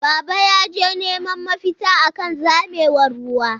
Baba yaje neman mafita akan zamewar ruwa.